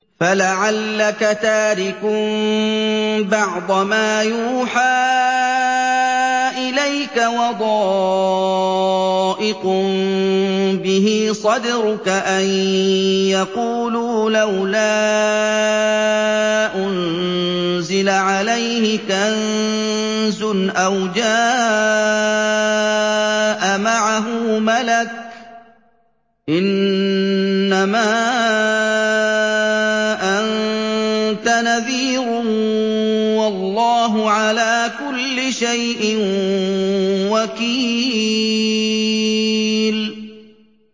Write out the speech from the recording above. فَلَعَلَّكَ تَارِكٌ بَعْضَ مَا يُوحَىٰ إِلَيْكَ وَضَائِقٌ بِهِ صَدْرُكَ أَن يَقُولُوا لَوْلَا أُنزِلَ عَلَيْهِ كَنزٌ أَوْ جَاءَ مَعَهُ مَلَكٌ ۚ إِنَّمَا أَنتَ نَذِيرٌ ۚ وَاللَّهُ عَلَىٰ كُلِّ شَيْءٍ وَكِيلٌ